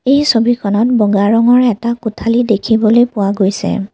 এই ছবিখনত বগা ৰঙৰে এটা কোঠালী দেখিবলৈ পোৱা গৈছে।